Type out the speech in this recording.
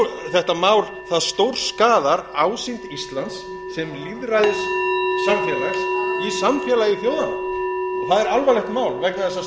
þetta mál stórskaðar ásýnd íslands sem lýðræðissamfélags í samfélagi þjóðanna það er alvarlegt mál vegna þess að slíkir atburðir koma ekki upp